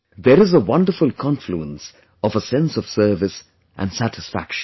There is a wonderful confluence of a sense of service and satisfaction